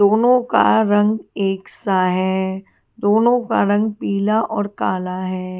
दोनों का रंग एक सा है दोनों का रंग पीला और काला है।